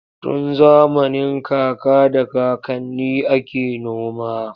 Tun zamanin kaka da kakanni ake noma.